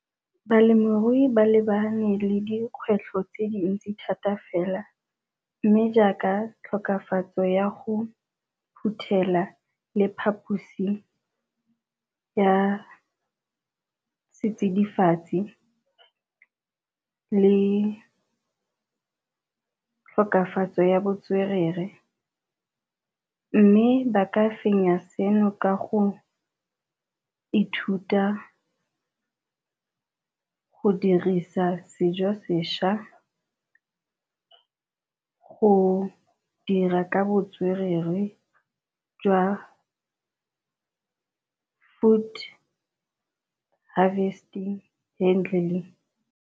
Balemirui ba lebane le dikgwetlho tse dintsi thata fela, mme jaaka tlhokafatso ya go phuthela le phaphusi ya setsidifatsi le thokafatso ya botswerere. Mme ba ka fenya seno ka go ithuta go dirisa sejo sešwa go dira ka botswerere jwa foot harvesting handling.